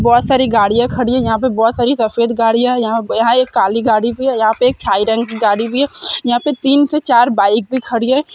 बोहोत सारी गाड़ियाँ खड़ी हैं यहाँ पे बोहोत सारी सफ़ेद गाड़ियाँ हैं यहाँ यहाँ एक काली गाड़ी भी है यहाँ पे एक की गाड़ी भी है यहाँ पे तीन से चार बाइक भी खड़ी है।